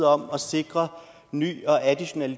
om at sikre ny og additionel